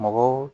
Mɔgɔw